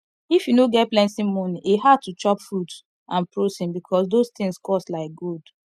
if you no get plenty money e hard to chop fruits and protein because those things cost like gold